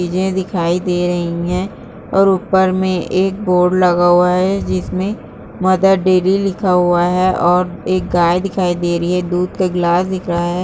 चीजें दिखाई दे रही हैं और ऊपर में एक बोर्ड लगा हुआ है जिस में मदर देरी लिखा हुआ है और एक गाय दिखाई दे रही है दूध का ग्लास दिख रहा है ।